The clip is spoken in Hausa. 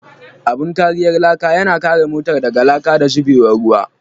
Abun kariyar laka yana kare motar daga laka da zubewar ruwa.